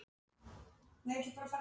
Við fáum ekki allt sem við viljum.